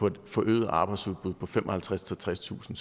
et forøget arbejdsudbud på femoghalvtredstusind tredstusind